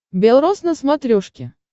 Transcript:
белрос на смотрешке